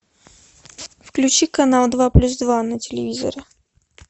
включи канал два плюс два на телевизоре